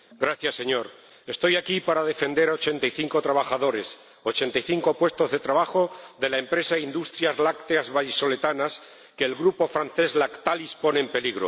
Señor Presidente, estoy aquí para defender a ochenta y cinco trabajadores, ochenta y cinco puestos de trabajo de la empresa Industrias Lácteas Vallisoletanas que el grupo francés Lactalis pone en peligro.